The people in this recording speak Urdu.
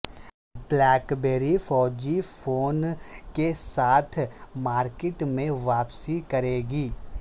بلیک بیری فائیو جی فون کیساتھ مارکیٹ میں واپسی کرے گی